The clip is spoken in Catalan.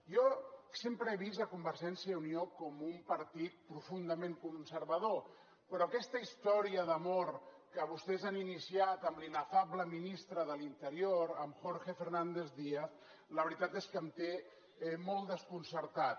jo sempre he vist convergència i unió com un partit profundament conservador però aquesta història d’amor que vostès han iniciat amb l’inefable ministre de l’interior amb jorge fernández díaz la veritat és que em té molt desconcertat